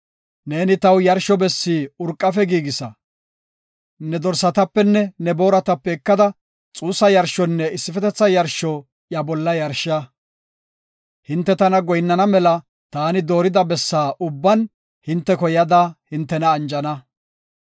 Neeni taw yarsho bessi urqafe giigisa. Ne dorsatapenne ne booratape ekada xuussa yarshonne issifetetha yarsho iya bolla yarsha. Hinte tana goyinnana mela taani doorida bessa ubban hinteko yada hintena anjana.